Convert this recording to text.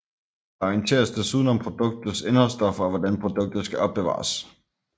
Der orienteres desuden om produktets indholdsstoffer og hvordan produktet skal opbevares